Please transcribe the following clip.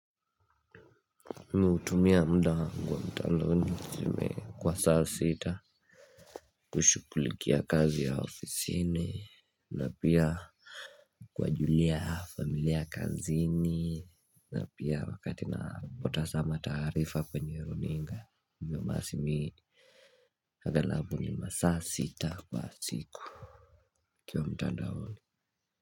Mimi hutumia mda wangu wa mtandaoni zimea kwa saa sita. Kushukulikia kazi ya ofisini na pia kuwajulia familia kazini na pia wakati napotasama taarifa mwenye runinga hii. Agalabu ni masaa sita kwa siku ukiwa mtandaoni.